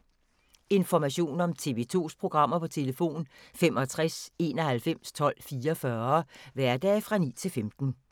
Information om TV 2's programmer: 65 91 12 44, hverdage 9-15.